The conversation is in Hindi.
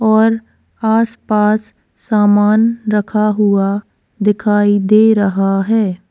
और आसपास सामान रखा हुआ दिखाई दे रहा है।